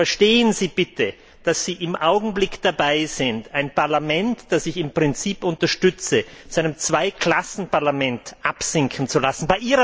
Verstehen Sie bitte, dass Sie im Augenblick dabei sind, ein Parlament, das ich im Prinzip unterstütze, zu einem Zweiklassen Parlament absinken zu lassen.